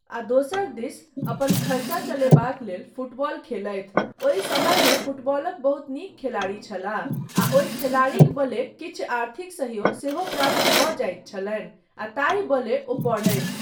आ दोसर दिस अपन खर्चा चलयबाक लेल फुटबॉल खेलथि ओहि समयमे फुटबॉलक बहुत नीक खेलाड़ी छलाह आ ओहि खेलाड़ीक बले किछु आर्थिक सहयोग सेहो प्राप्त भऽ जाइत छलनि आ ताहि बले ओ पढ़थि।